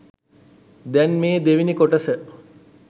දැන් මේ දෙවනි කොටස